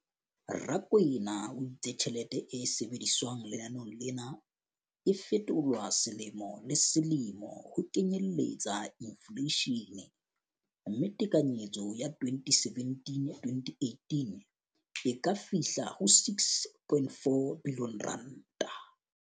Rakwena o itse tjhelete e sebediswang lenaneong lena e fetolwa selemo le selemo ho kenyelletsa infleishene, mme tekanyetso ya 2017-2018 e ka fihla ho R6.4 bilione.